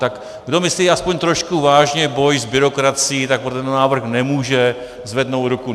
Tak kdo myslí aspoň trošku vážně boj s byrokracií, tak pro tento návrh nemůže zvednout ruku.